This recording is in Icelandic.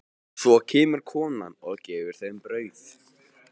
Svo kemur konan og gefur þeim brauð.